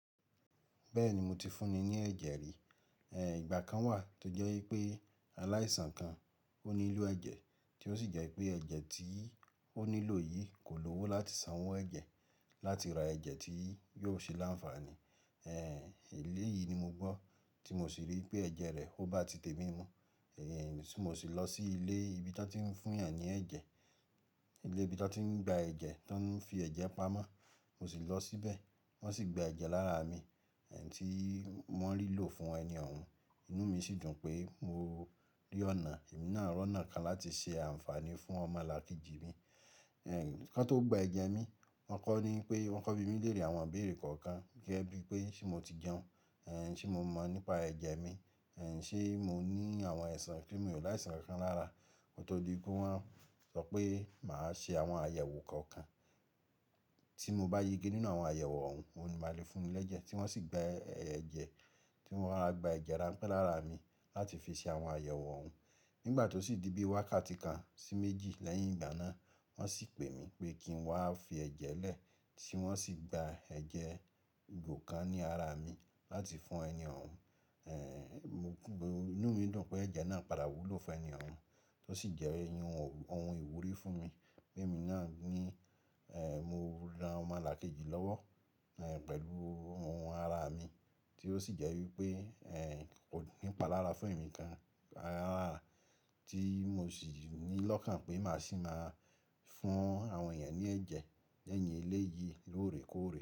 Bẹ́ẹ̀ni mo ti fún ni ní ẹ̀jẹ̀ rí. Ẹ̀, ìgbà kan wà tó jẹ́ wípé aláìsàn kan ó nílò ẹ̀jẹ̀, tí ó sì jẹ́ pé ẹ̀jẹ̀ tí ó nílò yìí kò lówó láti san owó ẹ̀jẹ̀ láti ra ẹ̀jẹ̀ tí yóò ṣe láǹfààní. Ẹ̀, èlé yìí ni mo gbọ́ tí mo sì rí pé ẹ̀jẹ̀ rẹ̀ ọ bá ti tèmi mu. Ẹ̀, tí mo sì lọ sí ilé ibi tí wọ́n tí ń fún èyàn ní ẹ̀jẹ̀, ilé ibi tí wọ́n ti ń gba ẹ̀jẹ̀, tí wọ́n ń fi ẹ̀jẹ̀ pamọ́, mo sì lọ síbẹ̀, wọ́n sì gba ẹ̀jẹ̀ lára mi, ẹ́n tí wọ́n rí lò fún ẹni ọ̀hún. Inú mi sì dùn pé mo rí ọ̀nà, èmi náà rí ọ̀nà kan láti ṣe àǹfààní fún ọmọ lákejì mi. Ẹ̀, kí wọn tó gba ẹ̀jẹ̀ mi, wọ́n kọ́ ni pé wọ́n kọ bí mi léèrè àwọn ìbéèrè kọ̀ọ̀kan gẹ́gẹ́ bí pé ṣé mo ti jẹun? Ẹ̀, ṣé mo mọ̀ nípa ẹ̀jẹ̀ mi? Ẹ̀, ṣé mo ní àwọn àìsàn kí mi ò láìsàn kankan lára. Kó tó di pé wọ́n sọ pé màá ṣe àwọn àyẹ̀wò kọ̀ọ̀kan tí mo bá yege nínú àwọn àyẹ̀wò ọ̀hún, òun ni màá le fún ni lẹ́jẹ̀. Tí wọ́n sì gba ẹ̀jẹ̀, tí wọ́n rọra gba ẹ̀jẹ̀ ránpẹ́ lára mi láti fi ṣe àwọn àyẹ̀wò ọ̀hún. Nígbà tó sì di bí wákàtí kan sí méjì lẹ́yìn ìgbà náà, wọ́n sì pè mi pé kí n wá fi ẹ̀jẹ̀ lẹ̀, tí wọ́n sì gba ẹ̀jẹ̀ ìgò kan ní ara mi láti fún ẹni ọ̀hún. Ẹ̀, mo kú, inú mi dùn pé ẹ̀jẹ̀ náà padà wúlò fún ẹni ọ̀hún. Tó sì jẹ́ ẹ́hin ohun ìwúrí fún mi pé èmi náà ní, ẹ̀, mo ran ọmọ lákejì lọ́wọ́, ẹ̀, pẹ̀lú ohun ara mi tí ó sì jẹ́ wípé ẹ̀ kò ní ìpalára fún èmi gan rárá tí mo sì ní lọ́kàn pé màá sì máa fún àwọn ènìyàn ní ẹ̀jẹ̀ lẹ́yìn eléyìí lóòrèkóòrè.